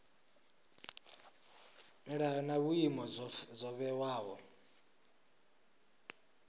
milayo na vhuimo zwo vhewaho